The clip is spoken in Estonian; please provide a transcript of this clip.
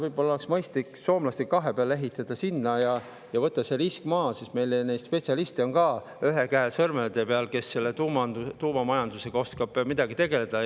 Võib-olla oleks mõistlik soomlastega kahe peale sinna ehitada ja võtta see risk maha, sest meil neid spetsialiste, kes tuumamajandusega oskavad tegeleda, ühe käe sõrmede peal.